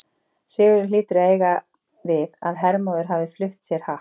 Sigurður hlýtur að eiga við að Hermóður hafi flutt sér happ.